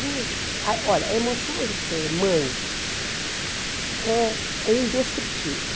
Gente, ai olha, a emoção de ser mãe é é indescritível.